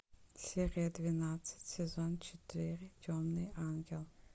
серия двенадцать сезон четыре темный ангел